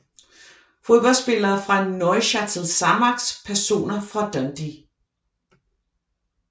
Fodboldspillere fra Neuchâtel Xamax Personer fra Dundee